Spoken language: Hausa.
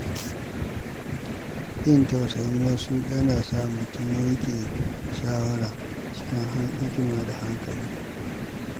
Jin tausayin wasu yana sa mutum yanke shawara cikin hikima da hankali.